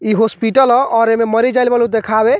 इ हॉस्पिटल ह और एमे मरीज़ आइल बाड़े देखावे।